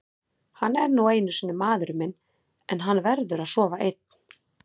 Hann er nú einu sinni maðurinn minn en hann verður að sofa einn.